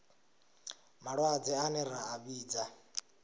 malwadze ane ra a vhidza